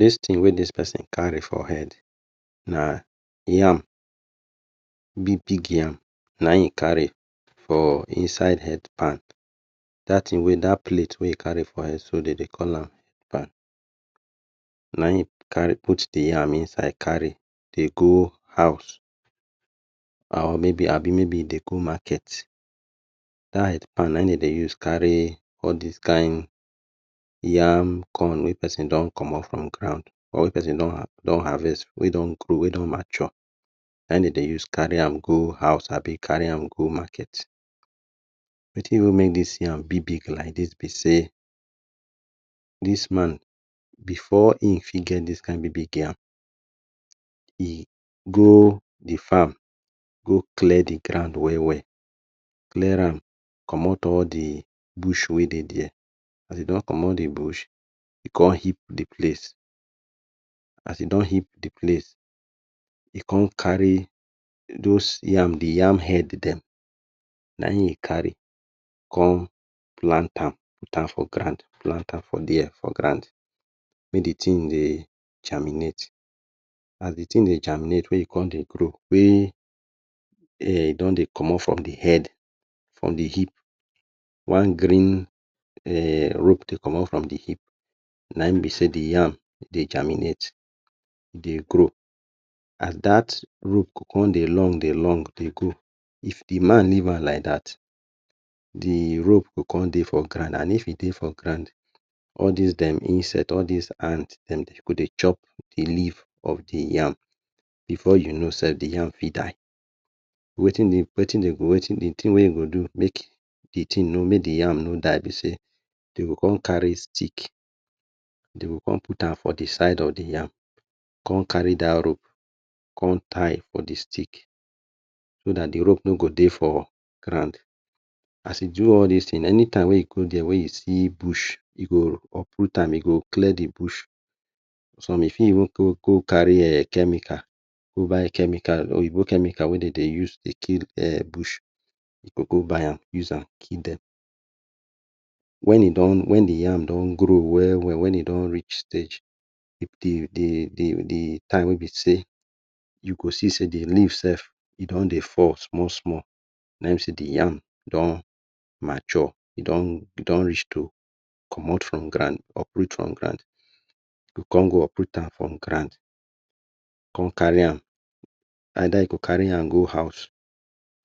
Dis tin wey dis pesin kari for head na yam big big yam na e kari for inside head pan. Dat thing wey Dat plate wey e kari for head de dey call am pan, na in e carry put the yam inside dey go house or mey be e dey go maket, dat head pan na in de dey use kari all dis kind yam, corn wey pesin don comot from ground or wey pesin don harvest wey don grow wey don mature, na in dem dey use kari am go house abi kari am go market. Wetin make dis yam big big like dis be sey, this man before e fit get dis kind big big yam e go the farm go clear the ground well well, clear am comot all the bush wey dey dia, as e don comot the bush, e con heap the place as e don heap the place as he don heap the place e con kari the dos yam head, the yam head dem na in im kari con plant am put am for ground, put am for dia for ground mey d tin dey germinate as the tin dey germinate, con dey grow wey e con dey comot from the head, from the heapp one green um rope dey comot from the hip de the yam de geminate e dey grow and dat rope go come dey long dey long dey go. If the man leave am liked dat the rope go come dey for ground and if e dey for ground, all di dem insect all dis ant dem go dey chop the leaf of the yam before you no sef the yam fit die. Wetin The tin wey you go do make the yam no die be sey, de go come kari stick dem go come put am for the side of the yam, con kari dat rope con tie for the stick so dat the rope no go dey for ground as you do all dis tin, any time wey you go dia wey you see bush, you go uproot am you go clear the bush, some fit even kari chemical go buy chemical oyinbo chemical wey de dey use to kill [um]bush, eh go go buy am kill dem. Wen the yam don grow, grow well well, wen e don reach stage, the um time wey be sey you go see the sey the leaf dey fall small small na in be sey, the yam don mature.e don reach to comot from ground, uproot from ground. E go come go uproot am from ground, come kari am eida you go kari am go house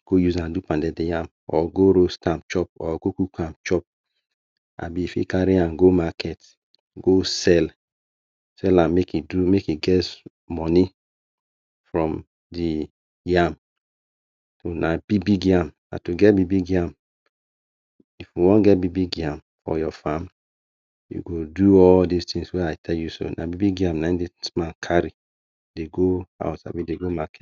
or go use am do pounded yam or go roast am chop or go cook am chop and if you kari am go maket, go sell, sell am make you get moni from the [um} yam, na big yam na big big yam, if you wan get big-big yam for your fam, you o do all dis tin wey I tell you and na in dis man kari dey go house dey go market